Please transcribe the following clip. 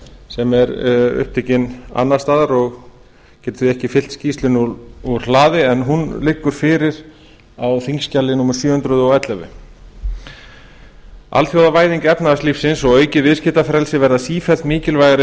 sem er upptekinn annars staðar og getur því ekki fylgt skýrslunni úr hlaði en hún liggur fyrir á þingskjali númer sjö hundruð og ellefu alþjóðavæðing efnahagslífsins og aukið viðskiptafrelsi verða sífellt mikilvægari